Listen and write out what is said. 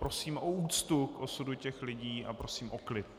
Prosím o úctu k osudu těch lidí a prosím o klid.